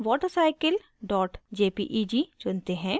अब water cycle jpeg चुनते हैं